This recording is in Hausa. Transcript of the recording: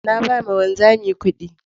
Na ba ma wanzamin kuɗi